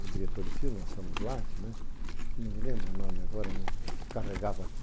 o diretor do filme, o Anselmo Duarte, não me lembro o nome agora, o que carregava a cruz.